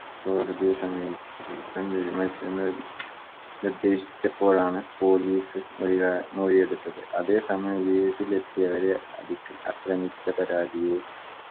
കോടതിയെ സമീപിക്കാൻ തീരുമാനിച്ചെന്ന് നിർദ്ദേശിച്ചപോഴാണ് police മൊഴി കാ മൊഴിയെടുത്തത് അതേ സമയം വീട്ടിലെത്തിയവരെ അധിക് ആക്രമിച്ച പരാധിയെ